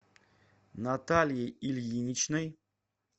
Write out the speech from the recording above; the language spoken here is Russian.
натальей ильиничной